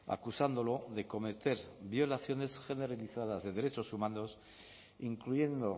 acusándolo de cometer violaciones generalizadas de derechos humanos incluyendo